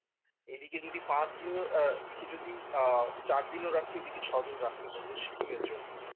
এদিকে যদি পাঁচ দিনও আহ ওইদিকে যদি আহ চার দিনও রাখি ওইদিকে ছয় দিন রাখতে পারব সিকিমের জন্য